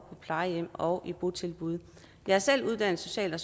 plejehjem og i botilbud jeg er selv uddannet social og